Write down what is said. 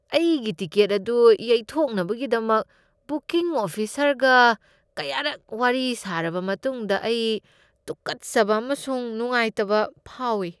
ꯑꯩꯒꯤ ꯇꯤꯀꯦꯠ ꯑꯗꯨ ꯌꯩꯊꯣꯛꯅꯕꯒꯤꯗꯃꯛ ꯕꯨꯀꯤꯡ ꯑꯣꯐꯤꯁꯔꯒ ꯀꯌꯥꯔꯛ ꯋꯥꯔꯤ ꯁꯥꯔꯕ ꯃꯇꯨꯡꯗ ꯑꯩ ꯇꯨꯀꯠꯆꯕ ꯑꯃꯁꯨꯡ ꯅꯨꯡꯉꯥꯏꯇꯕ ꯐꯥꯎꯏ ꯫